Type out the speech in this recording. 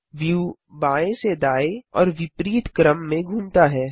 view बाएँ से दाएँ और विपरीत क्रम में घूमता है